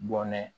Bɔnɛ